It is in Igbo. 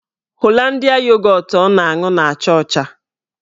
Holandịa yogọtụ ọ na-aṅụ na-acha ọcha